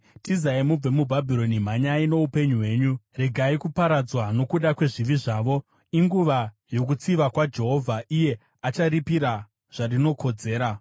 “Tizai mubve muBhabhironi! Mhanyai muponese upenyu hwenyu! Regai kuparadzwa nokuda kwezvivi zvaro. Inguva yokutsiva kwaJehovha; iye achariripira zvarinokodzera.